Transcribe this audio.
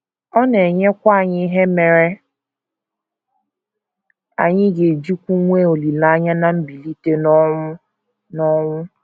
Ọ na - enyekwa anyị ihe mere anyị ga - ejikwu nwee olileanya ná mbilite n’ọnwụ n’ọnwụ.